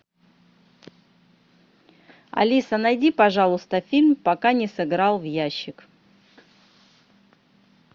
алиса найди пожалуйста фильм пока не сыграл в ящик